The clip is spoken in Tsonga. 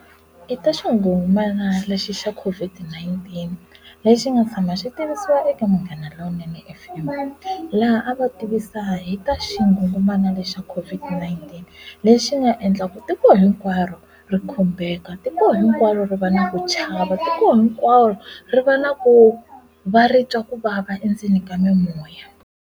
I ta xingungumana lexi xa COVID-19 lexi nga tshama xi tivisiwa eka Munghana Lowunene F_M laha a va tivisa hi ta xingungumana lexa COVID-19 endzeni lexi nga endlaka tiko hinkwaro ri khumbeka tiko hinkwaro ri va na ku chava tiko hinkwaro ri va na ku va ri twa kuvava endzeni ka mimoya.